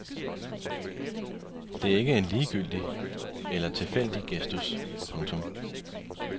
Det er ikke en ligegyldig eller tilfældig gestus. punktum